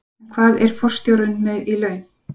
En hvað er forstjórinn með í laun?